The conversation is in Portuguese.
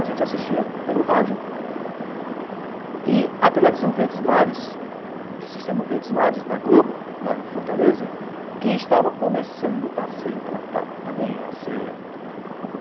A gente assistia pelo rádio e a televisão Verdes Mares, do sistema Verdes Mares, da Globo, lá em Fortaleza, que estava começando a ser implantada